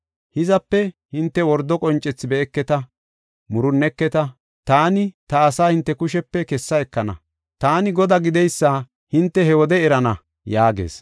Hizape hinte wordo qoncethi be7eketa; murunneketa. Taani ta asaa hinte kushepe kessa ekana. Taani Godaa gideysa hinte he wode erana” yaagees.